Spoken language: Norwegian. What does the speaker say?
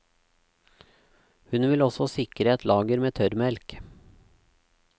Hun vil også sikre et lager med tørrmelk.